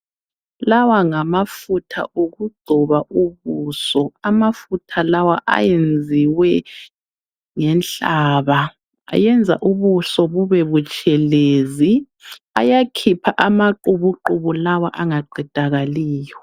Lawa ngamafutha okugcoba ubuso. Amafutha lawa ayenziwe ngenhlaba. Ayenza ubuso bube butshelezi. Ayakhipha amaqubuqubu lawa angaqedakaliyo.